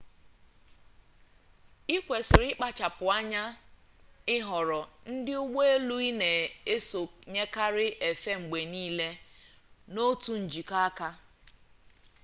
ị kwesịrị ịkpachapụ anya ịhọrọ ndị ụgbọ elu ị na-esonyekarị efe mgbe niile n'otu njikọ aka